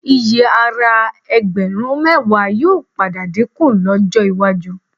Iyì ara ẹgbẹ̀rún mẹ́wàá yóò padà dínkù lọ́jọ́ iwájú